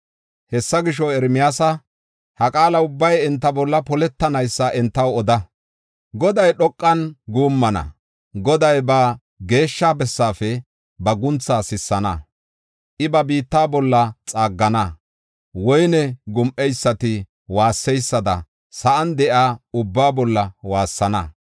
“Hessa gisho, Ermiyaasa, ha qaala ubbay enta bolla poletanaysa entaw oda. Goday dhoqan guummana; Goday ba geeshsha bessaafe ba guntha sissana. I ba biitta bolla xaaggana; woyne gum7eysati waasseysada sa7an de7iya ubbaa bolla waassana.